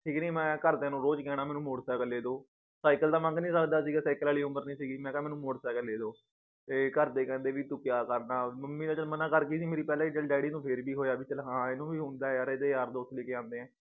ਠੀਕ ਨੀ ਮੈ ਘਰਦਿਆਂ ਨੂੰ ਰੋਜ ਕਹਿਣਾ ਮੈਨੂੰ motor cycle ਲੇਦੋ cycle ਤਾਂ ਮੰਗ ਨੀ ਸਕਦਾ ਸੀਗਾ cycle ਵਾਲੀ ਉਮਰ ਨੀ ਸੀਗੀ ਮੈ ਕਾ ਮੈਨੂੰ motor cycle ਲੇਦੋ ਤੇ ਘਰਦੇ ਕਹਿੰਦੇ ਵੀ ਤੂੰ ਕਯਾ ਕਰਦਾਂ ਮਮ੍ਮੀ ਤੇ ਚੱਲ ਮਨਾ ਕਰਗੀ ਸੀ ਮੇਰੀ ਪਹਿਲਾਂ ਈ ਚੱਲ ਡੈਡੀ ਨੂੰ ਫੇਰ ਬੀ ਹੋਇਆ ਵੀ ਚੱਲ ਹਾਂ ਇਹਨੂੰ ਵੀ ਹੁੰਦਾ ਏ ਯਾਰ ਇਹਦੇ ਯਾਰ ਦੋਸਤ ਲੇਕੇ ਆਂਦੇ ਏ